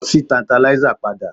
Lọ sí Tantalizer padà